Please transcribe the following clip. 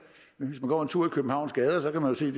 hvis man går en tur i københavns gader kan man se